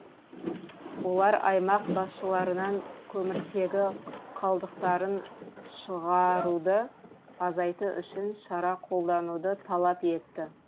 олар аймақ басшыларынан көміртегі қалдықтарын шығаруды азайту үшін шара қолдануды талап етті